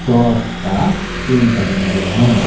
Cross का chain पहने हुए है।